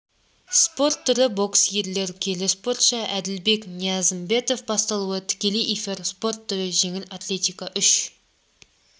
спорт түрі бокс ерлер келі спортшы әділбек ниязымбетов басталуы тікелей эфир спорт түрі жеңіл атлетика үш